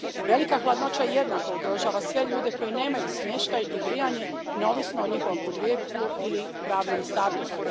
Velika hladnoća jednako ugrožava sve ljude koji nemaju smještaj i grijanje, neovisno o njihovom podrijetlu ili pravnom statusu.